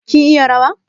Kin iya rawa?